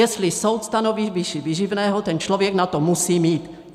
Jestli soud stanoví výši výživného, ten člověk na to musí mít.